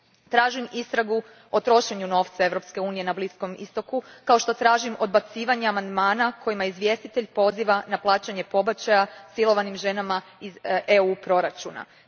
Tražim istragu o trošenju novca Europske unije na Bliskom istoku kao što tražim i odbacivanje amandmana kojim izvjestitelj poziva na plaćanje pobačaja silovanim ženama iz proračuna EU a.